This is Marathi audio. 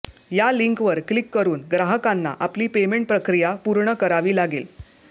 या लिंकवर क्लिक करुन ग्राहकांना आपली पेमेंट प्रक्रिया पूर्ण करावी लागेल